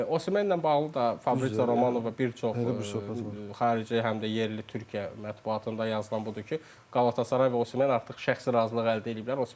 Omenlə bağlı da Fabri Romanova bir çox xarici, həm də yerli Türkiyə mətbuatında yazılan budur ki, Qalatasaray və Omen artıq şəxsi razılıq əldə eləyiblər.